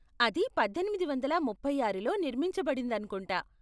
అది పద్దెనిమిది వందల ముప్పై ఆరులో నిర్మించబడిందనుకుంటా.